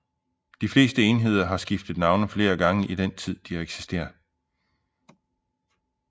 De fleste enheder har skiftet navne flere gange i den tid de har eksisteret